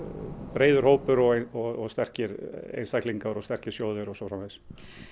breiður hópur og sterkir einstaklingar og sterkir sjóðir og svo framvegis